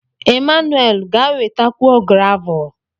Emmanuwel, ga wetakwuo gravul.